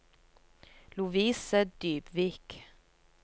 Lovise Dybvik